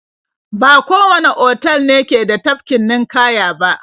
Ba kowanne otal ne ke da tafkin ninƙaya ba.